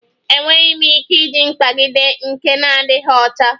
Enweghị m ike iji mkpagide nke na-adịghị ọcha